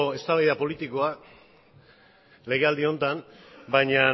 eztabaida politikoa legealdi honetan baina